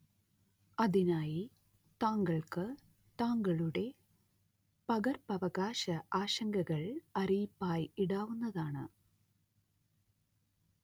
അതിനായി താങ്കൾക്ക് താങ്കളുടെ പകർപ്പവകാശ ആശങ്കകൾ അറിയിപ്പായി ഇടാവുന്നതാണ്